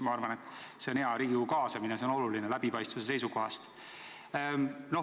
Ma arvan, et Riigikogu kaasamine on hea, see on läbipaistvuse seisukohast oluline.